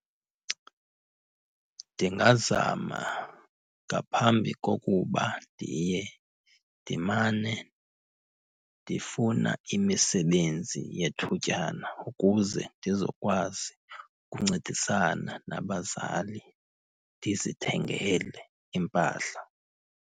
Ndingazama ngaphambi kokuba ndiye. Ndimane ndifuna imisebenzi yethutyana ukuze ndizokwazi ukuncedisana nabazali, ndizithengele impahla.